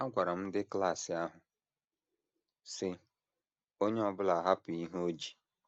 Agwara m ndị klas ahụ, sị: Onye ọ bụla hapụ ihe o ji.